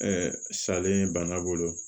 salen banna bolo